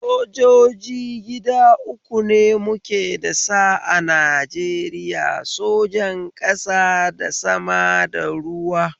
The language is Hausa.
Sojoji gida uku ne muke da sa a Najeriya, sojan ƙasa da sama da ruwa